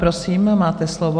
Prosím, máte slovo.